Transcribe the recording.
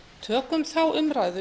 tökum þá umræðu